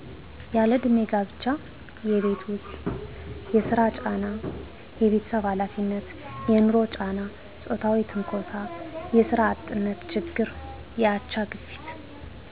ያለእድሜ ጋብቻ የቤት ውስጥ የስራ ጫና የቤተሰብ ሀላፊነት የንሮ ጫና ጾታዊ ትንኮሳ የስራ አጥነት ችግር የአቻ ግፊት